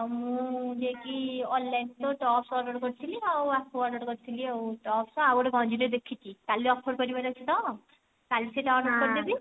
ଆଉ ମୁଁ ଯାଇକି online ରେ tops order କରିଥିଲି ଆଉ ଆକୁ order କରିଥିଲି ଆଉ tops ଆଉ ଗୋଟେ ଗଞ୍ଜି ଟେ ଦେଖିଛି କାଲି offer ସରିବାର ଅଛି ତ କଳାଇ ସେଇଟା order କରିଦେବି